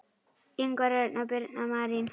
Ingvar Örn og Birna Marín.